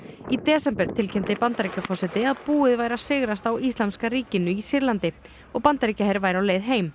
í desember tilkynnti Bandaríkjaforseti að búið væri að sigrast á íslamska ríkinu í Sýrlandi og Bandaríkjaher væri á leið heim